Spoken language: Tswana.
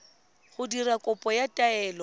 go dira kopo ya taelo